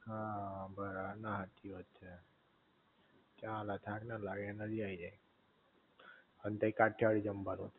હઅ, બરા, ના હાચી વાત છે ચાલ થાક ન લાગે એનર્જી આઈ જાઇ અને તઈ કાઠિયાવાડી જમવાનું હસ